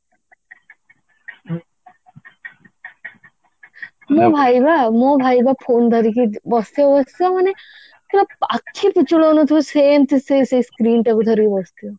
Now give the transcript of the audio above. ମୋ ଭାଇ ବା ମୋ ଭାଇ ବା phone ଧରିକି ବସିଥିବ ବସିଥିବ ମାନେ ପୁରା ଆଖି ପିଛୁଳଉନଥିବେ ସେମତି ସେଇ ସେଇ screen ଟାକୁ ଧରିକି ବସିଥିବ